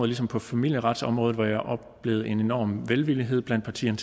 ligesom på familieretsområdet hvor jeg oplevede en enorm velvilje blandt partierne